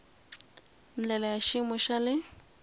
ndlela ya xiyimo xa le